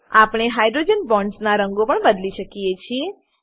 આપણે hydrogen bonds ના રંગો પણ બદલી શકીએ છીએ